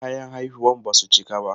Kayan haihuwar ba su cika ba.